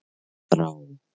Þrá